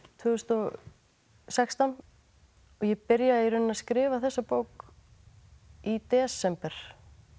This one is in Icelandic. tvö þúsund og sextán ég byrjaði í rauninni að skrifa þessa bók í desember